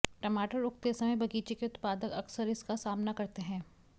टमाटर उगते समय बगीचे के उत्पादक अक्सर इसका सामना करते हैं